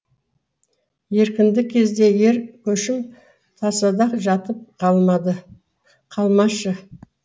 еркіндік кезде ер көшім тасада жатып қалмашы